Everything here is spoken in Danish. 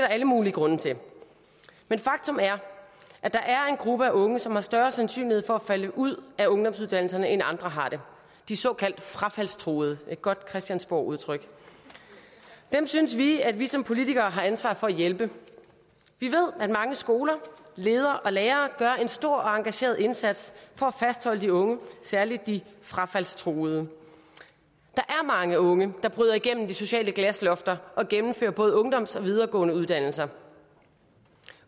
alle mulige grunde til men faktum er at der er en gruppe af unge som har større sandsynlighed for at falde ud af ungdomsuddannelserne end andre har det de såkaldt frafaldstruede det et godt christiansborgudtryk dem synes vi at vi som politikere har ansvar for at hjælpe vi ved at mange skoler ledere og lærere gør en stor og engageret indsats for at fastholde de unge særlig de frafaldstruede der er mange unge der bryder igennem de sociale glaslofter og gennemfører både ungdomsuddannelser og videregående uddannelser